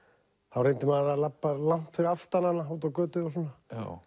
þá reyndi maður að labba langt fyrir aftan hana úti á götu og svona